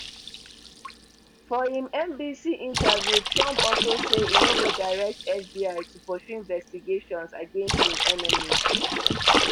for im nbc interview trump also say e no go direct fbi to pursue investigations against im enemies